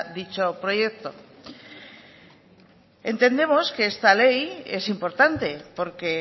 dicho proyecto entendemos que esta ley es importante porque